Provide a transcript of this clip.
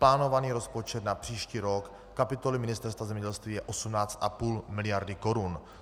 Plánovaný rozpočet na příští rok kapitoly Ministerstva zemědělství je 18,5 miliardy korun.